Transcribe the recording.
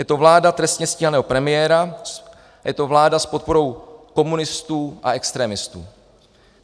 Je to vláda trestně stíhaného premiéra, je to vláda s podporou komunistů a extremistů.